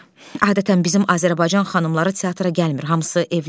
Adətən bizim Azərbaycan xanımları teatra gəlmir, hamısı evlərdə.